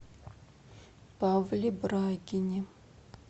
павле брагине